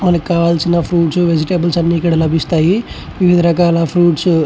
మనకి కావాల్సిన fruits vegetables ఇక్కడ లభిస్తాయి. వివిధ రకాల ఫ్రూప్ట్స్ --